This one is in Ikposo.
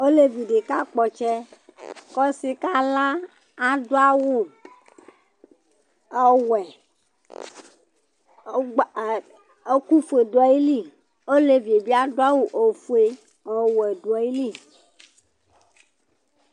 Ɔlevi di kakpɔ ɔtsɛ kʋ ɔsi kala Adu awu ɔwɛ ɛku fʋe du ayìlí ɔlevi bi adu awu ɔfʋe ɔwɛ du ayìlí